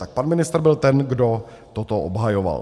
Tak pan ministr byl ten, kdo toto obhajoval.